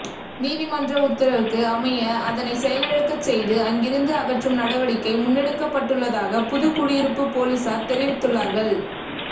நீதிமன்ற உத்தரவுக்கு அமைய அதனை செயலிழக்கச் செய்து அங்கிருந்து அகற்றும் நடவடிக்கை முன்னெடுக்கப்பட்டுள்ளதாக புதுக்குடியிருப்பு பொலிசார் தெரிவித்துள்ளார்கள்